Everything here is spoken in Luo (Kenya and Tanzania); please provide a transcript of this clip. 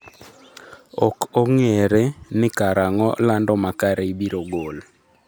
Ok ong'ere ni kar ang'o lando makare ibiro gol.